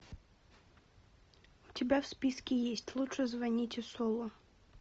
у тебя в списке есть лучше звоните солу